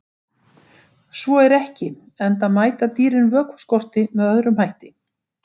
Svo er ekki, enda mæta dýrin vökvaskorti með öðrum hætti.